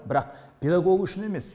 бірақ педагог үшін емес